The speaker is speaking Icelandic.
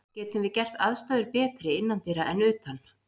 Getum við gert aðstæður betri innandyra en utan?